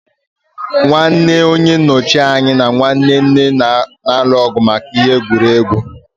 Nwanne onye nnochi anya na nwanne nne na-alụ ọgụ maka ihe egwuregwu.